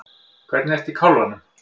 Hvernig ertu í kálfanum?